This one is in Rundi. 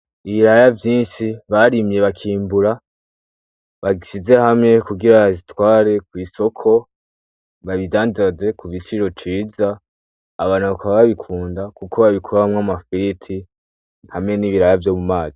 Ibiraya vyishi barimye bakimbura babishize hamwe kugirango babitware kwisoko babidandaze kugiciro ciza ,abantu bakaba babikunda kuko babikoramwo amafiriti hamwe n'ibiraya vyo mumazi .